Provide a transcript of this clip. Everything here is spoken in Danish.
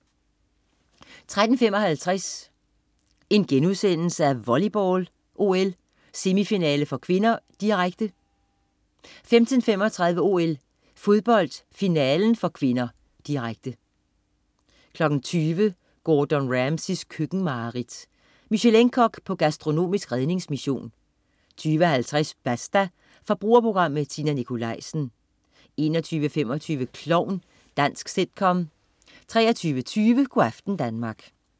13.55 OL: Volleyball, semifinale (k), direkte* 15.35 OL: Fodbold, finalen (k), direkte 20.00 Gordon Ramsays køkkenmareridt. Michelin-kok på gastronomisk redningsmission 20.50 Basta. Forbrugerprogram med Tina Nikolaisen 21.25 Klovn. Dansk sitcom 23.20 Go' aften Danmark